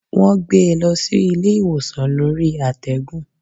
Wọ́n gbé e lọ sí ilé ìwòsàn lórí àtẹ́gùn.